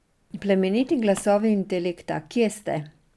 Plemeniti glasovi intelekta, kje ste?